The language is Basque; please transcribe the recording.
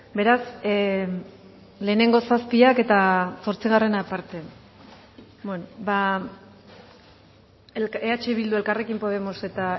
beraz lehenengo zazpiak eta zortzigarrena aparte eh bildu elkarrekin podemos eta